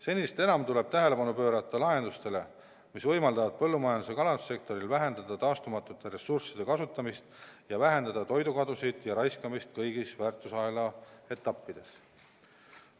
Senisest enam tuleb tähelepanu pöörata lahendustele, mis võimaldavad põllumajandus- ja kalandussektoril vähendada taastumatute ressursside kasutamist ja vähendada toidukadusid ja raiskamist kõigis väärtusahela etappides.